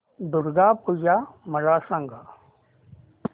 दुर्गा पूजा मला सांग